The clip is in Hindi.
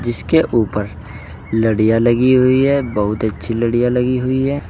इसके ऊपर लड़ियां लगी हुई है बहुत अच्छी लड़िया लगी हुई है।